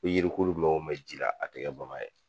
yirikuru mɛn wo mɛn ji la a tɛ kɛ bama ye.